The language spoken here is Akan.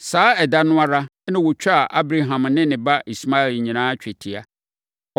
Saa ɛda no ara, na wɔtwaa Abraham ne ne ba Ismael nyinaa twetia.